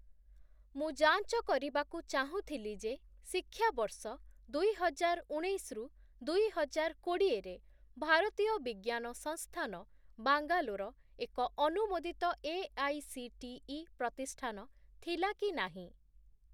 ମୁଁ ଯାଞ୍ଚ କରିବାକୁ ଚାହୁଁଥିଲି ଯେ ଶିକ୍ଷାବର୍ଷ ଦୁଇହଜାରଉଣେଇଶ ରୁ ଦୁଇହଜାରକୋଡି଼ଏ ରେ ଭାରତୀୟ ବିଜ୍ଞାନ ସଂସ୍ଥାନ ବାଙ୍ଗାଲୋର ଏକ ଅନୁମୋଦିତ ଏଆଇସିଟିଇ ପ୍ରତିଷ୍ଠାନ ଥିଲା କି ନାହିଁ?